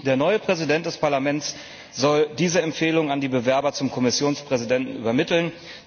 Der neue Präsident des Parlaments soll diese Empfehlungen an die Bewerber zum Kommissionspräsidenten übermitteln.